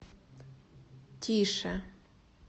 тише